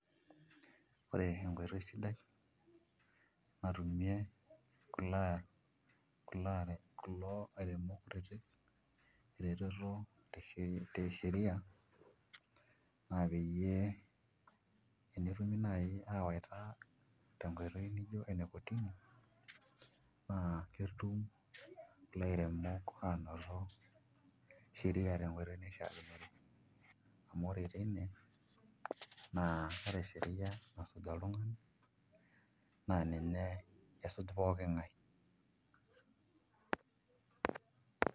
Ore enkoitoi sidai natumie kulo airemok kutitik eretetote sheria naa peyie enetumi naai aawaita tenkoitoi nijio enekotini naa ketum ilairemok aanoto sheria tonkoitoi naishiakinore amu ore teine naa ore sheria nasuj oltung'ani naa ninye esuj pooki ng'ae.